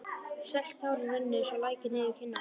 Sölt tárin runnu eins og lækir niður kinnarnar.